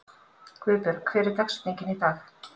Guðbjörg, hver er dagsetningin í dag?